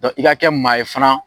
i ka kɛ maa ye fana